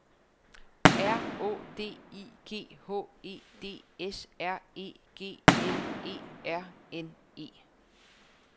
R Å D I G H E D S R E G L E R N E